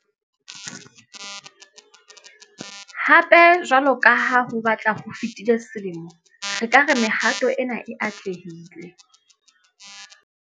Hape, jwalo ka ha ho batla ho fetile selemo, re ka re mehato ena e atlehile.